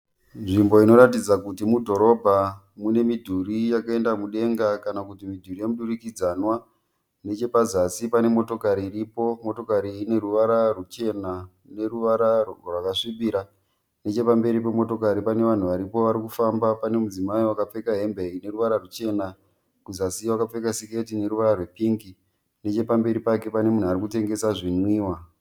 Nzvimbo inoratidza kuti mudhorobha mune midhuri yakaenda mudenga kana kuti midhuri yemudurikidzanwa. Nechepazasi pane motokari iripo, motokari iyi ine ruvara ruchena neruvara rwakasvipira. Nechepamberi pemotokari pana vanhu varipo vari kufamba, pane mudzimai wakapfeka hembe ine ruvara ruchena, kuzasi wakapfeka siketi ine ruvara rwepingi. Nechepamberi pake pane munhu ari kutengesa zvinwiwa.